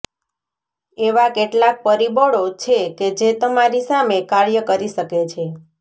એવા કેટલાક પરિબળો છે કે જે તમારી સામે કાર્ય કરી શકે છે